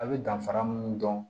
A' be danfara mun dɔn